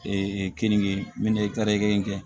Ee keninke kari in kɛ